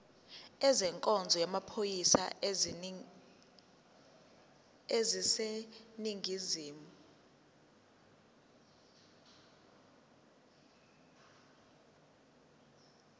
ezenkonzo yamaphoyisa aseningizimu